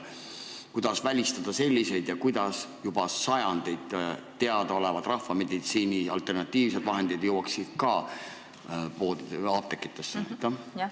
Kuidas välistada selliseid asju ja kuidas saaksid juba sajandeid teadaolevad rahvameditsiini alternatiivsed vahendid jõuda apteekidesse?